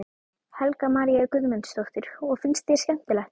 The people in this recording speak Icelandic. Helga María Guðmundsdóttir: Og finnst þér skemmtilegt?